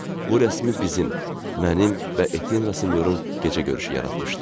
Bu rəsmi bizim, mənim və Etyen Rasinyorun gecə görüşü yaratmışdı.